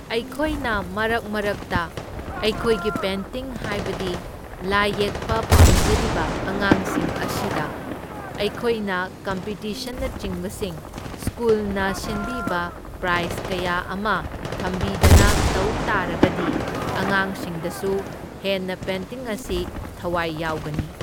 ꯑꯩꯈꯣꯏꯅ ꯃꯔꯛ ꯃꯔꯛꯇ ꯑꯩꯈꯣꯏꯒꯤ ꯄꯦꯟꯇꯤꯡ ꯍꯥꯏꯕꯗꯤ ꯂꯥꯏ ꯌꯦꯛꯄ ꯄꯥꯝꯖꯔꯤꯕ ꯑꯉꯥꯡꯁꯤꯡ ꯑꯁꯤꯗ ꯑꯩꯈꯣꯏꯅ ꯀꯝꯄꯤꯇꯤꯁꯟꯅꯆꯤꯡꯕꯁꯤꯡ ꯁ꯭ꯀꯨꯜꯅ ꯁꯤꯟꯕꯤꯕ ꯄ꯭ꯔꯥꯏꯁ ꯀꯌꯥ ꯑꯃ ꯊꯝꯕꯤꯗꯅ ꯇꯧ ꯇꯥꯔꯒꯗꯤ ꯑꯉꯥꯡꯁꯤꯡꯗꯁꯨ ꯍꯦꯟꯅ ꯄꯦꯟꯇꯤꯡ ꯑꯁꯤ ꯊꯋꯥꯢ ꯌꯥꯎꯒꯅꯤ꯫